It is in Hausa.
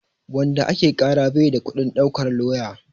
Wanda ake ƙara bai da kuɗin ɗaukar lauya.